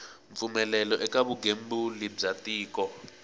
mpfumelelo eka vugembuli bya tiko